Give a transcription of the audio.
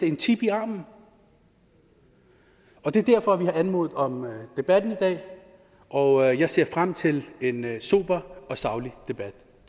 en chip i armen det er derfor at vi har anmodet om debatten i dag og jeg ser frem til en sober og saglig debat